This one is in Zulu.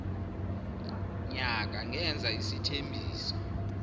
nyaka ngenza isethembiso